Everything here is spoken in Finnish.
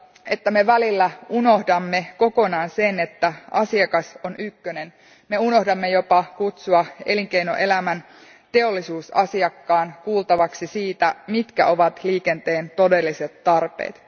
että me välillä unohdamme kokonaan sen, että asiakas on ykkönen, me unohdamme jopa kutsua elinkeinoelämän teollisuusasiakkaan kuultavaksi siitä, mitkä ovat liikenteen todelliset tarpeet.